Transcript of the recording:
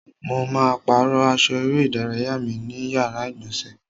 Mo ma pàrọ́ aṣọ eré ìdárayá mi ní yàrá ìgbọ̀nsẹ̀.